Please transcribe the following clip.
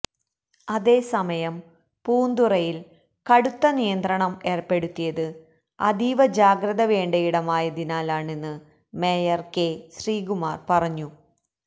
അതേസമയം പൂന്തുറയില് കടുത്ത നിയന്ത്രണം ഏര്പ്പെടുത്തിയത് അതീവ ജാഗ്രത വേണ്ടയിടമായതിനാലാണെന്ന് മേയര് കെ ശ്രീകുമാര് പറഞ്ഞു